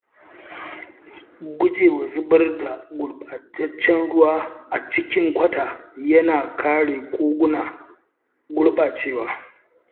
Gujewa zubar da gurɓataccen ruwa a cikin kwata yana kare koguna gurɓacewa.